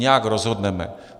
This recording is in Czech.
Nějak rozhodneme.